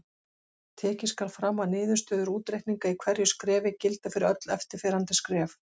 Tekið skal fram að niðurstöður útreikninga í hverju skrefi gilda fyrir öll eftirfarandi skref.